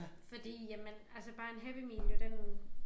Fordi jamen altså bare en Happy Meal jo den